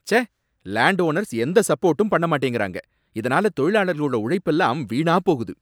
ச்சே! Land owners எந்த சப்போர்டும் பண்ண மாட்டேங்கறாங்க, இதனால தொழிலாளர்களோட உழைப்பெல்லாம் வீணாப் போகுது